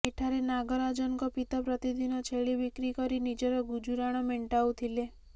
ଏଠାରେ ନାଗରାଜନଙ୍କ ପିତା ପ୍ରତିଦିନ ଛେଳି ବିକ୍ରି କରି ନିଜର ଗୁଜୁରାଣ ମେଣ୍ଟାଉଥିଲେ